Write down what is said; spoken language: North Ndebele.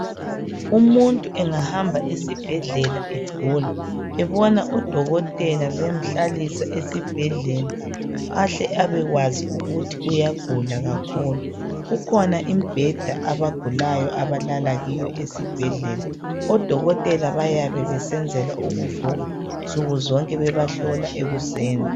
Umuntu engahamba esibhedlela egula ebona udokotela emhlalisa esibhedlela ahle abekwazi ukuthi uyagula kakhulu . Kukhona imbheda abagulayo abalala kiyo esibhedlela .Odokotela bayabe besenzela ukuvuka nsuku zonke bebahlola ekuseni.